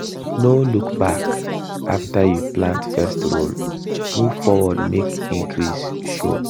no look back after you plant first row move forward make increase show.